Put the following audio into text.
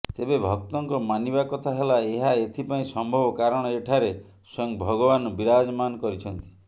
ତେବେ ଭକ୍ତଙ୍କ ମାନିବା କଥା ହେଲା ଏହା ଏଥିପାଇଁ ସମ୍ଭବ କାରଣ ଏଠାରେ ସ୍ୱୟଂ ଭଗବାନ ବୀରାଜମାନ କରିଛନ୍ତି